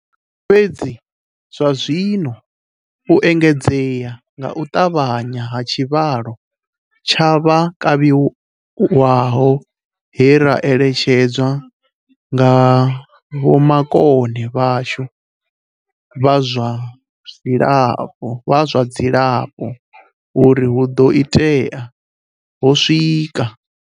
Fhedzi zwazwino, u engedzea nga u ṱavhanya ha tshivhalo tsha vha kavhiwaho he ra eletshedzwa nga vhoma-kone vhashu vha zwa dzilafho uri hu ḓo itea, ho swika.